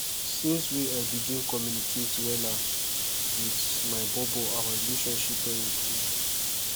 since wey i begin communicate wella wit my bobo our relationship don improve